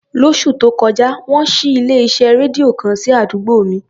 Lóṣù tó kọjá, wọ́n ṣí ilé-iṣẹ́ rédíò kan sí àdúgbò mi.